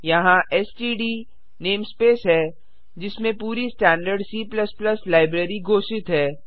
यहाँ STD namespace है जिसमें पूरी स्टैंडर्ड C लाइब्रेरी घोषित है